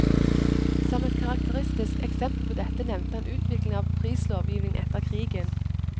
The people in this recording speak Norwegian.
Som et karakteristisk eksempel på dette nevnte han utviklingen av prislovgivningen etter krigen.